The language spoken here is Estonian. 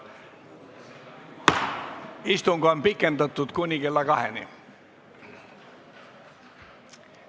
Istung on pikendatud kuni kella kaheni.